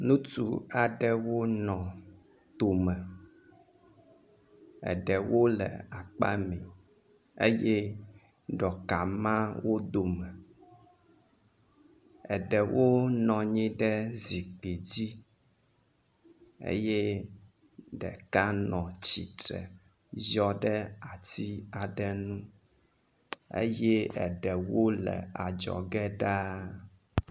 Ŋutsu aɖewo nɔ to me. Eɖewo le akpa mɛ eye ɖɔka ma wo dome. Eɖewo nɔ anyi ɖe zikpui dzi eye ɖeka nɔ tsitre ziɔ ɖe ati aɖe nu eye eɖewo le adzɔge ɖaa.